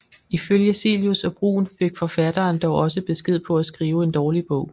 Ifølge Cillius og Bruun fik forfatteren dog også besked på at skrive en dårlig bog